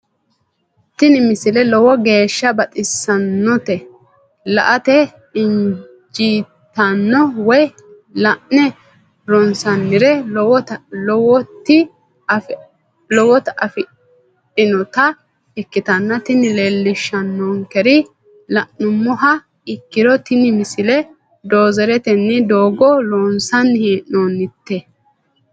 tini misile lowo geeshsha baxissannote la"ate injiitanno woy la'ne ronsannire lowote afidhinota ikkitanna tini leellishshannonkeri la'nummoha ikkiro tini misile doozeretenni doogo loonsanni hee'noonnite.